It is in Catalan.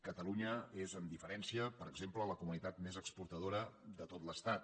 catalunya és amb diferència per exemple la comunitat més exportadora de tot l’estat